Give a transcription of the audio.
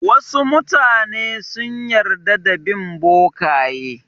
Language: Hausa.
Wasu mutane sun yarda da bin bokaye.